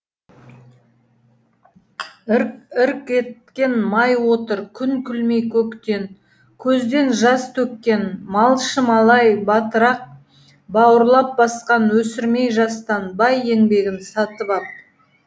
ірк ірк еткен май отыр күн күлмей көктен көзден жас төккен малшы малай батырақ бауырлап басқан өсірмей жастан бай еңбегін сатып ап